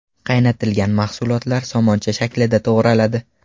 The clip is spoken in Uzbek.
Qaynatilgan mahsulotlar somoncha shaklida to‘g‘raladi.